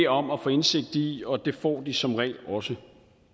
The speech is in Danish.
om at få indsigt i og det får de som regel også